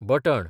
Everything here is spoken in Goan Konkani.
बटण